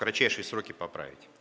кратчайшие сроки поправить